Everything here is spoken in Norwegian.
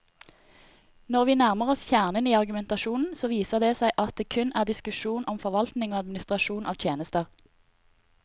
Når vi nærmer oss kjernen i argumentasjonen, så viser det seg at det kun er en diskusjon om forvaltning og administrasjon av tjenester.